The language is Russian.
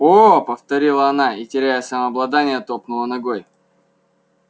о повторила она и теряя самообладание топнула ногой